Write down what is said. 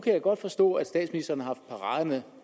kan godt forstå at statsministeren har haft paraderne